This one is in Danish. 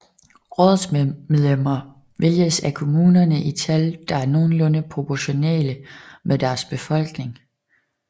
Rådsmedlemmer vælges af kommunerne i tal der er nogenlunde proportionale med deres befolkning